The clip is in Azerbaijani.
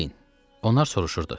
Deyin, onlar soruşurdu.